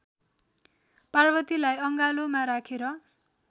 पार्वतीलाई अङ्गालोमा राखेर